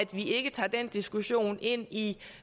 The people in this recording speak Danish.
vi ikke tager den diskussion med ind i